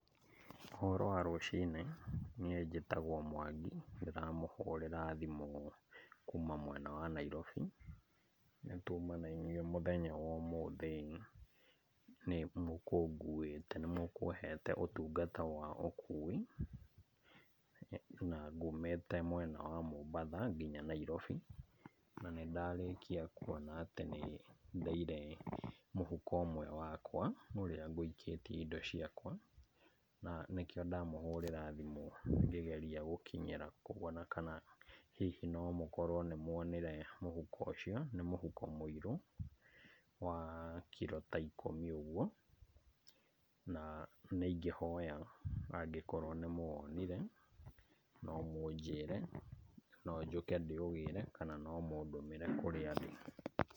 Ũhoro wa rũcinĩ? Nie njĩtagwo Mwangi. Ndĩramũhũrĩra thimũ kuma mwena wa Nairobi. Nĩtuma na inyue mũthenya wa ũmũthĩ. Nĩ mũkũnguĩte, nĩ mũkũhete ũtungata wa ũkui, na ngũmĩte mwena wa Mombatha, nginya Nairobi. Na nĩ ndarĩkia kuona atĩ nĩ, ndeire mũhuko ũmwe wakwa, ũrĩa ngũikĩtie indo ciakwa. Na nĩkĩo ndamũhũrĩra thimũ ngĩgeria gũkinyĩra kuona kana hihi no mũkorwo nĩ muonire mũhuko ũcio, nĩ mũhuko mũiro, wa kiro ta ikũmi ũguo. Na nĩ ingĩhoya angĩkorwo nĩ mũwonire no mũnjĩre, no njuke ndĩ ũgĩre, kana no mũndũmĩre kũrĩa ndĩ.